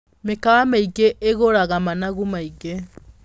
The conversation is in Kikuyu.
Mĩkawa mĩingĩ ĩgũraga managu maingĩ.